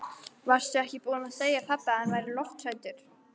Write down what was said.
Varstu ekki búin að segja pabba að hann væri lofthræddur?